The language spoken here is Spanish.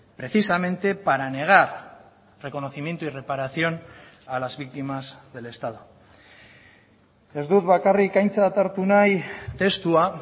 precisamente para negar reconocimiento y reparación a las víctimas del estado ez dut bakarrik aintzat hartu nahi testua